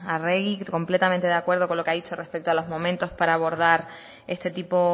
arregi completamente de acuerdo con lo que ha dicho respeto a los momentos para abordar este tipo